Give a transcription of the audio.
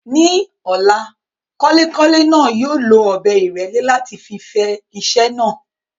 Ní ọ̀la, kọ́lékọ́lé náà yóò lo ọ̀bẹ ìrẹ́lẹ́ láti fi fẹ iṣẹ́ náà.